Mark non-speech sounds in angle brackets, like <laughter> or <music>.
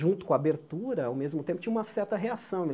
junto com abertura, ao mesmo tempo, tinha uma certa reação. <unintelligible>